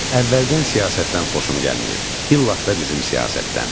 Əvvəldən siyasətdən xoşum gəlməyib, illah da bizim siyasətdən.